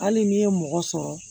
Hali n'i ye mɔgɔ sɔrɔ